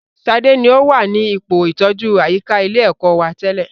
Sadé ni o wà ní ipò ìtọjú àyíká ilé ẹ̀kọ́ wa tẹ́lẹ̀